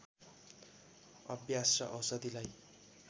अभ्यास र औषधिलाई